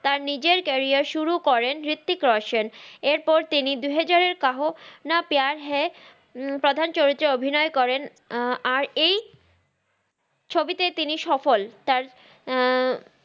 তার নিজের ক্যারিয়ার সুরু করেন হ্রিত্তিক রশান তার দুহাযার এর কাহ না প্যার হা প্রাধান চরিত্রে অভিনই করে এই চরিত্রে তিনি সফল